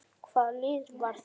Hvaða lið var það?